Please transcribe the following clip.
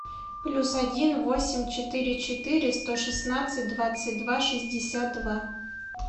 плюс один восемь четыре четыре сто шестнадцать двадцать два шестьдесят два